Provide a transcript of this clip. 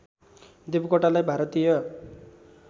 देवकोटालाई भारतीय